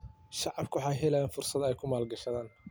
Shacabku waxay helaan fursad ay ku maalgashadaan.